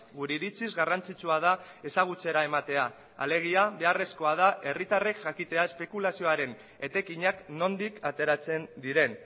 gure iritziz garrantzitsua da ezagutzera ematea da alegia beharrezkoa da herritarrek jakitea espekulazioaren etekinak nondik ateratzen diren